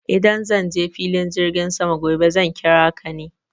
Idan zan je filin jirgin sama gobe za ki raka ni.